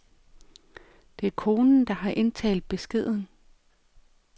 Det er konen, der har indtalt beskeden.